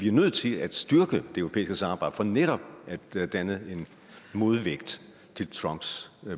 er nødt til at styrke det europæiske samarbejde for netop at danne en modvægt til trumps